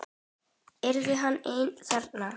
Yrði hann einn þarna?